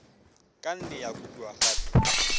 ka nne ya kopiwa gape